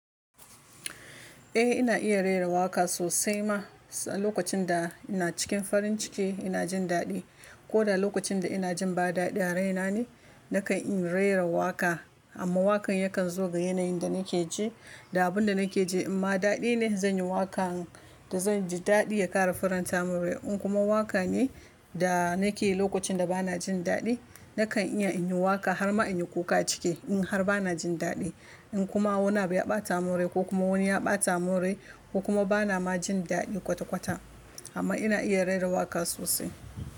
Eh ina iya rera waƙa sosai ma. Sa lokacin da ina cikin farin ciki ina jin daɗi ko da lokacin da ina jin ba daɗi a raina ne, nakan iya rera waƙa amma waƙan yakan zo ga yanayin da nake ji da abun da nake ji. In ma daɗi ne zan yi waƙan da zan ji daɗi ya ƙara faranta mun rai. In kuma waƙa ne da nake yi lokacin da bana jin daɗi, nakan iya in yi waƙa har ma in yi kuka a ciki in har bana jin daɗi. In kuma wani ya ɓata mun rai ko kuma wani ya ɓata mun rai ko kuma bana ma jin daɗi kwata-kwata amma ina iya rera waƙa sosai.